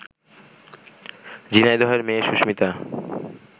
ঝিনাইদহের মেয়ে সুস্মিতা